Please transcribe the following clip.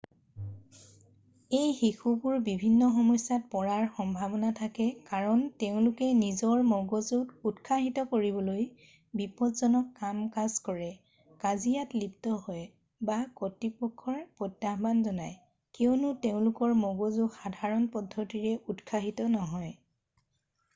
"এই শিশুবোৰ বিভিন্ন সমস্যাত পৰাৰ সম্ভাৱনা থাকে কাৰণ তেওঁলোকে নিজৰ মগজুক উৎসাহিত কৰিবলৈ "বিপজ্জনক কাম কাজ কৰে কাজিয়াত লিপ্ত হয় বা কতৃপক্ষক প্ৰত্যাহ্বান জনায়" কিয়নো তেওঁলোকৰ মগজু সাধাৰণ পদ্ধতিৰে উৎসাহিত নহয়।""